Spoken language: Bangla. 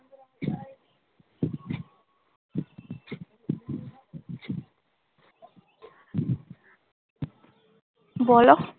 বলো?